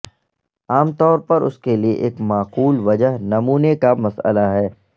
عام طور پر اس کے لئے ایک معقول وجہ نمونے کا مسئلہ ہے